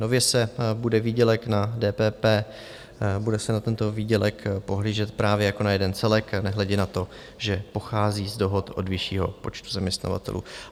Nově se bude výdělek na DPP, bude se na tento výdělek pohlížet právě jako na jeden celek nehledě na to, že pochází z dohod od vyššího počtu zaměstnavatelů.